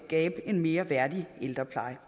skabe en mere værdig ældrepleje